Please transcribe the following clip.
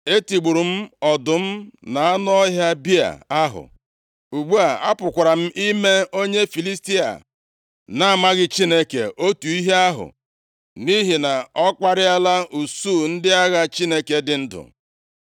Etigburu m ọdụm na anụ ọhịa bịa ahụ, ugbu a, apụkwara m ime onye Filistia a na-amaghị Chineke otu ihe ahụ, nʼihi na ọ kparịala usuu ndị agha Chineke dị ndụ!